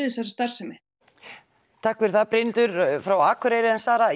þessari starfsemi takk fyrir það Brynhildur frá Akureyri en Sara